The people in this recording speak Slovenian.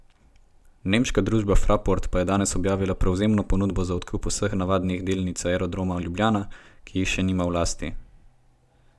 Nemška družba Fraport pa je danes objavila prevzemno ponudbo za odkup vse navadnih delnic Aerodroma Ljubljana, ki jih še nima v lasti.